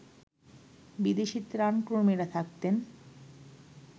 বিদেশী ত্রাণকর্মীরা থাকতেন